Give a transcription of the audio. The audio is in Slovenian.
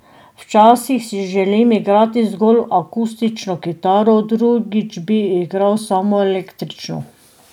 Včasih si želim igrati zgolj akustično kitaro, drugič bi igral samo električno.